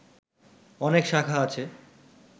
অনেক শাখা আছে